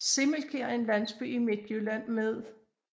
Simmelkær er en landsby i Midtjylland med